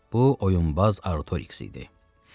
Bu oyunbaz Artoriks idi.